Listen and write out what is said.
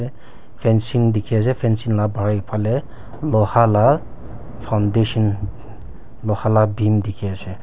fencing dikhi ase fencing la bahar iphale loha la foundation loha la beam dikhi ase.